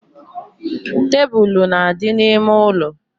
Tebulu na-adị n’ime ụlọ